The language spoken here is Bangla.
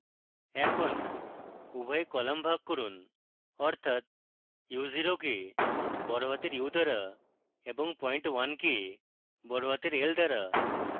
এখন উভয় কলাম ভাগ করুন অর্থাৎ u zero কে বড়হাতের u দ্বারা এবং point 1 কে বড়হাতের l দ্বারা